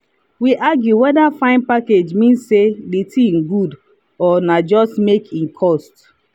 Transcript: we argue whether fine package mean say the thing good or na just make e cost.